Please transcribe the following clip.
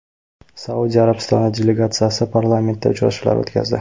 Saudiya Arabistoni delegatsiyasi parlamentda uchrashuvlar o‘tkazdi.